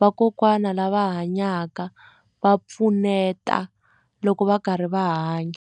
vakokwana lava hanyaka va pfuneta loko va karhi va hanya.